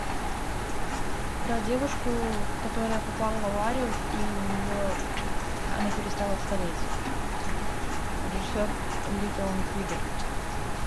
про девушку которая попала в аварию и у нее она перестала стареть режиссер ли толанд кригер